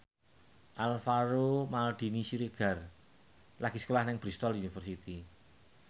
Alvaro Maldini Siregar lagi sekolah nang Bristol university